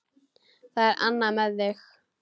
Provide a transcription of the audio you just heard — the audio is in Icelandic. Það er annað með mig.